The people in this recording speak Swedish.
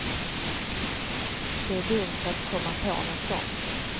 Det är dumt att komma på nåt sånt.